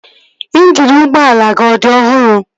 Ịnjini ụgbọala gị ọ dị ọhụrụ?